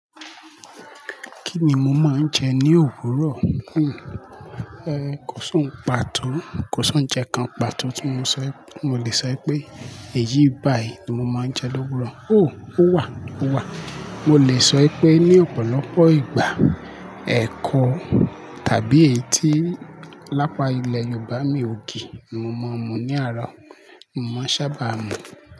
Kí ni mo máa ń jẹ ní òwúrọ̀? Kò sòún pa tó, kò sán jẹ kan pa tó tí mo lè sọ pé èyí báyìí ni mo máa ń jẹ lówúrọ̀. Ó wà, ó wà. Mo lè sọ pé ní ọ̀pọ̀lọpọ̀ ìgbà, ẹ̀kọ tàbí èyí tí lápa ilẹ̀ Yorùbá ní ògì ni mo máa ń mu ní àárọ̀. Mo máa ń ṣábà mu.